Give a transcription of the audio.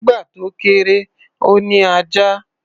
Nígbà tó kéré, ó ní ajá.